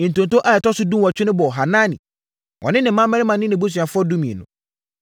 Ntonto a ɛtɔ so dunwɔtwe no bɔɔ Hanani, ɔne ne mmammarima ne nʼabusuafoɔ (12)